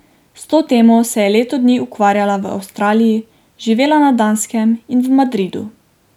S to temo se je leto dni ukvarjala v Avstraliji, živela na Danskem in v Madridu.